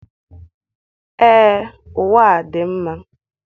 Ee, ụwa a dị mma.